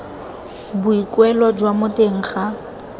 boikuelo jwa mo teng ga